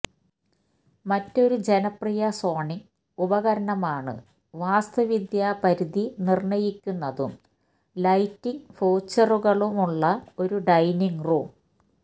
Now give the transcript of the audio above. മറ്റൊരു ജനപ്രിയ സോണിംഗ് ഉപകരണമാണ് വാസ്തുവിദ്യ പരിധി നിർണ്ണയിക്കുന്നതും ലൈറ്റിംഗ് ഫ്യൂച്ചറുകളുമുള്ള ഒരു ഡൈനിംഗ് റൂം